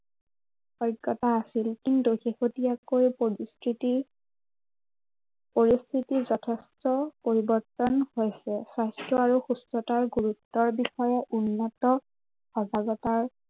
অজ্ঞতা আছিল। কিন্তু শেহতীয়াকৈ পৰিস্থিতি পৰিস্থিতিৰ যথেষ্ট পৰিৱৰ্তন হৈছে। স্বাস্থ্য় আৰু সুস্থতাৰ গুৰুতৰ বিষয়ে উন্নত, সজাগতাৰ